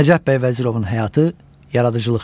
Nəcəf bəy Vəzirovun həyatı, yaradıcılıq yolu.